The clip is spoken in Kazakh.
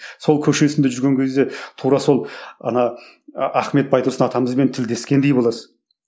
сол көшесінде жүрген кезде тура сол ана ахмет байтұрсын атамызбен тілдескендей боласың